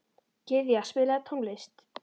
Gyðja, spilaðu tónlist.